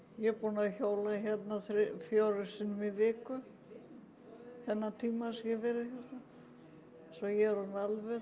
ég er búin að hjóla hérna fjórum sinnum í viku þennan tíma sem ég hef verið hérna svo ég er orðin alvön